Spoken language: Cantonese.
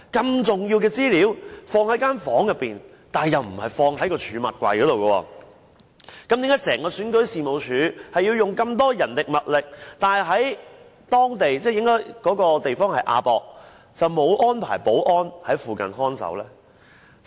如此重要的資料，放在一個房間裏，但又不是放入儲物櫃之中，為何選舉事務處本身需要這麼多人力物力，但是在亞洲國際博覽館場地卻沒有安排保安人員在附近看守呢？